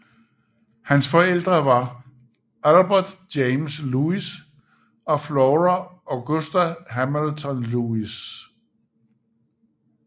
Hans forældre var Albert James Lewis og Flora Augusta Hamilton Lewis